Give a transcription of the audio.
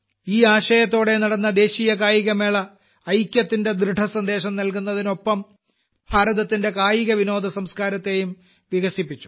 ഈ വേലാല ഓടെ നടന്ന ദേശീയ കായികമേള ഐക്യത്തിന്റെ ദൃഢസന്ദേശം നൽകിയതിനൊപ്പം ഭാരത്തിന്റെ കായികവിനോദസംസ്കാരത്തെയും വികസിപ്പിച്ചു